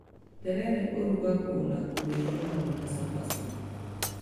Terere ũrũgagwo na kũrĩo hamwe na cabaci